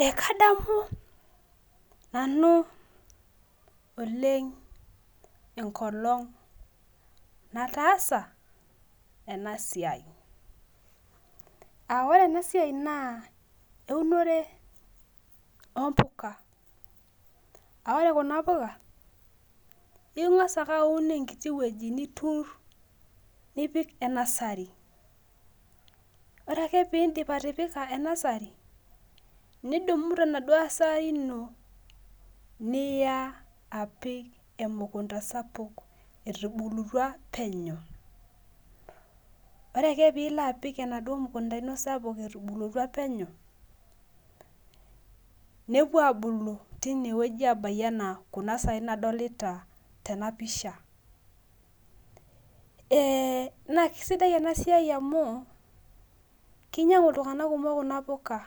Ee kadamunanu oleng enkolong nataasa enasiai aa ore enasia na eunore ompuka a ore kunapika ingasa ake aun enkiti wueji nipik e nursery ore ake piindip atipikae nursery nidumu tenaduo nursery ino niya apik emukunda sapuk etubulutua penyo ore ake pilo apik enaduo mukunda ino sapuk nepuo abai ana kuna sai nadolta tenapisha ee nakesidai enasiai amu kinyangu ltunganak kumok kuna puka